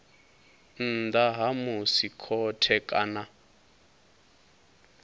nnḓa ha musi khothe kana